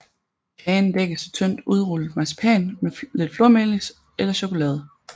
Kagen dækkes af tyndt udrullet marcipan med lidt flormelis eller chokolade